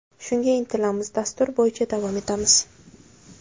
Shunga intilamiz, dastur bo‘yicha davom etamiz.